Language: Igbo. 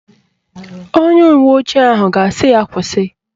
Onye uwe ojii ahụ ga-asị ya kwụsị